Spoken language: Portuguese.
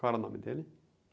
Qual era o nome dele?